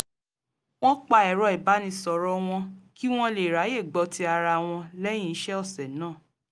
wọ́n pa ẹ̀rọ ìbánisọ̀rọ̀ wọn kí wọ́n lè ráyè gbọ́ ti ara wọn lẹ́yìn iṣẹ́ ọ̀sẹ̀ náà